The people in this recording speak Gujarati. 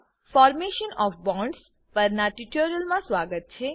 મા ફોર્મેશન ઓએફ બોન્ડ્સ પરના ટ્યુટોરીયલમાં સ્વાગત છે